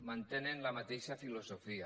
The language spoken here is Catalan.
mantenen la mateixa filosofia